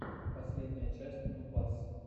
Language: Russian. последняя часть нубас